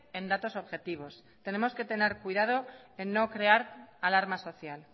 en datos objetivos tenemos que tener cuidado en no crear alarma social